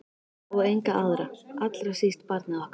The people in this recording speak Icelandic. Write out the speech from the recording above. Og enga aðra- allra síst barnið okkar.